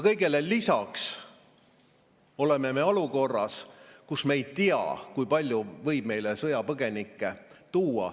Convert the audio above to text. Kõigele lisaks oleme me olukorras, kus me ei tea, kui palju võib meile sõjapõgenikke tulla.